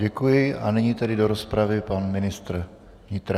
Děkuji a nyní tedy do rozpravy pan ministr vnitra.